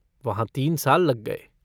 वहाँ तीन साल लग गये।